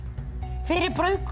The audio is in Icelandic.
fyrir